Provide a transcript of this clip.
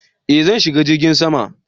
Eh zan shiga jirgin sama